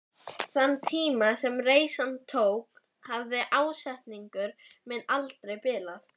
En þeim mun hlynntari vægðarlausri umræðu og sjálfsgagnrýni.